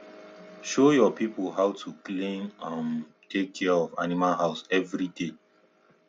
show your people how to clean um and take care of animal house every day